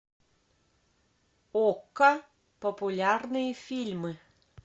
окко популярные фильмы